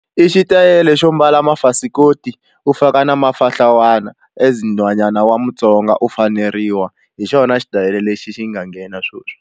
I xitayele xo mbala mafasikoti u faka na mafahlawana as nhwanyana wa mutsonga u faneriwa hi xona xitayile lexi xi nga nghena sweswi.